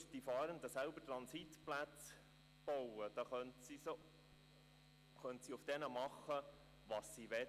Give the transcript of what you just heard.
Würden die Fahrenden selbst Transitplätze bauen, könnten sie auf diesen tun, was sie wollten.